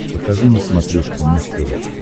покажи на смотрешке муз тв